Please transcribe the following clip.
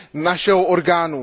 našeho orgánu.